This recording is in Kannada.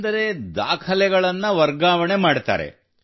ಅಂದರೆ ದಾಖಲೆಗಳನ್ನು ವರ್ಗಾವಣೆ ಮಾಡುತ್ತಾರೆ